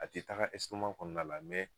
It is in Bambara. A te taga ɛsitoman kɔnɔna la mɛ